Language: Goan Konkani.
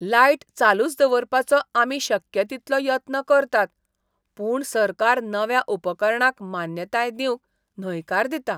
लायट चालूच दवरपाचो आमी शक्य तितलो यत्न करतात पूण सरकार नव्या उपकरणांक मान्यताय दिवंक न्हयकार दिता.